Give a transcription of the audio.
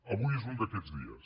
avui és un d’aquests dies